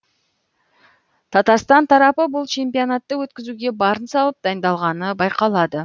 татарстан тарапы бұл чемпионатты өткізуге барын салып дайындалғаны байқалады